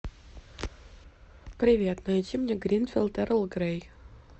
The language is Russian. привет найди мне гринфилд эрл грей